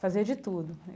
Fazia de tudo.